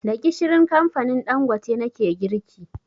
Da gishirin kamfanin Ɗangote nake girki